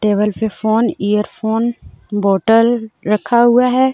Table पे phone earphone bottle रखा हुआ है.